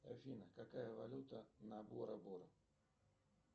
афина какая валюта на бора бора